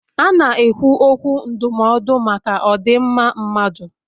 A na-ekwu okwu ndụmọdụ maka odinmma mmadụ